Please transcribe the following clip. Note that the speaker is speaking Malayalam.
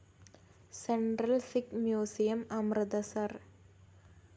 central Sikh museum, Amritsar